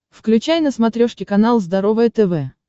включай на смотрешке канал здоровое тв